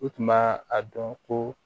U tun b'a a dɔn ko